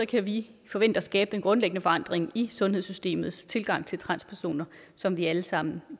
kan vi forvente at skabe den grundlæggende forandring i sundhedssystemets tilgang til transpersoner som vi alle sammen